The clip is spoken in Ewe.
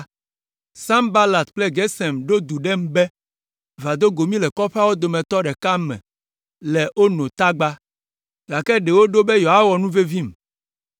Sanbalat kple Gesem ɖo du ɖem be, “Va do go mí le kɔƒeawo dometɔ ɖeka me le Ono tagba,” gake ɖe woɖo be yewoawɔ nuvevim,